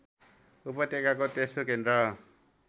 उपत्यकाको तेस्रो केन्द्र